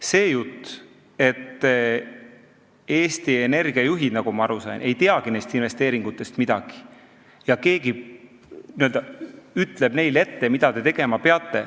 See jutt, et Eesti Energia juhid, nagu ma aru sain, ei teagi neist investeeringutest midagi ja keegi n-ö ütleb neile ette, mida nad tegema peavad ...